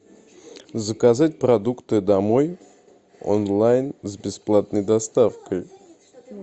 заказать продукты домой онлайн с бесплатной доставкой